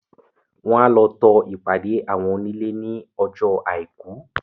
Wọ́n a lọ to ìpàdé àwọn onílè ní ọjọ́ àìkú.